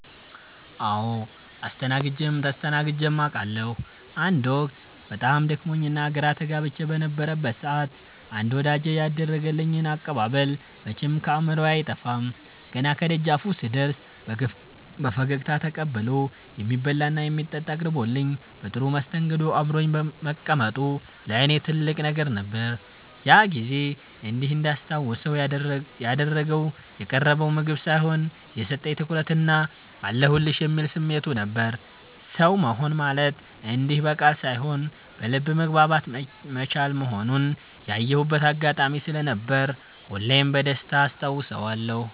አዎ አስተናግጀም ተስተናግጀም አቃለሁ። አንድ ወቅት በጣም ደክሞኝና ግራ ተጋብቼ በነበረበት ሰዓት አንድ ወዳጄ ያደረገልኝ አቀባበል መቼም ከአእምሮዬ አይጠፋም። ገና ከደጃፉ ስደርስ በፈገግታ ተቀብሎ፣ የሚበላና የሚጠጣ አቅርቦልኝ በጥሩ መስተንግዶ አብሮኝ መቀመጡ ለእኔ ትልቅ ነገር ነበር። ያ ጊዜ እንዲህ እንዳስታውሰው ያደረገው የቀረበው ምግብ ሳይሆን፣ የሰጠኝ ትኩረትና "አለሁልሽ" የሚለው ስሜቱ ነበር። ሰው መሆን ማለት እንዲህ በቃል ሳይሆን በልብ መግባባት መቻል መሆኑን ያየሁበት አጋጣሚ ስለነበር ሁሌም በደስታ አስታውሰዋለሁ።